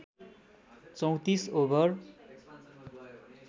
३४ over